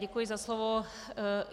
Děkuji za slovo.